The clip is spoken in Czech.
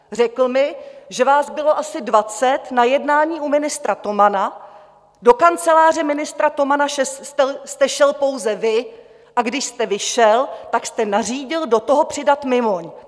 Řekl mi, že vás bylo asi dvacet na jednání u ministra Tomana, do kanceláře ministra Tomana jste šel pouze vy, a když jste vyšel, tak jste nařídil do toho přidat Mimoň.